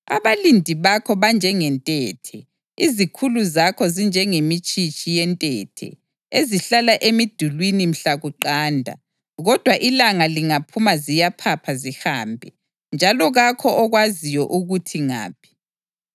Abalindi bakho banjengentethe, izikhulu zakho zinjengemitshitshi yentethe ezihlala emidulini mhla kuqanda kodwa ilanga lingaphuma ziyaphapha zihambe, njalo kakho okwaziyo ukuthi ngaphi.